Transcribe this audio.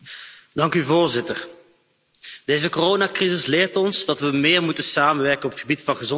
Voorzitter, deze coronacrisis leert ons dat we meer moeten samenwerken op het gebied van gezondheid.